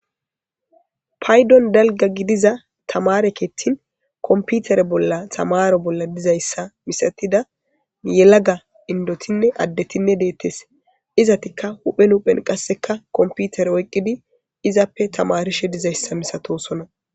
paydon dalga gidiza tamare keetin komputere bolla tamaro bolla dizayssa misatida yelaga indotinne addetinne deettes, izatikka huphe huphen qasseka komputere oyqqidi izappe tamarishe dizayssa misatosona